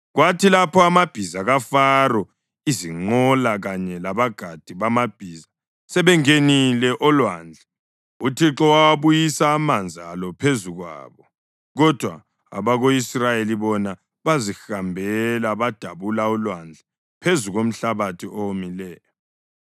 Kwathi lapho amabhiza kaFaro, izinqola kanye labagadi bamabhiza sebengenile olwandle, uThixo wawabuyisa amanzi alo phezu kwabo, kodwa abako-Israyeli bona bazihambela badabula ulwandle phezu komhlabathi owomileyo.